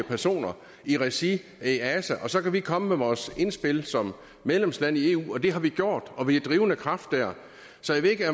personer i regi af easa og så kan vi komme med vores indspil som medlemsland i eu det har vi gjort og vi er en drivende kraft der så jeg ved ikke